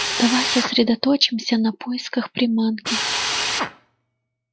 давай сосредоточимся на поисках приманки